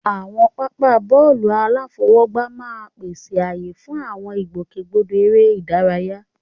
Àwọn pápá bọ́ọ̀lù aláfọwọ́gbá máa ń pèsè ààyè fún àwọn ìgbòkègbodò eré ìdárayá.